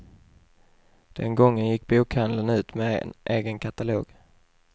Den gången gick bokhandeln ut med en egen katalog.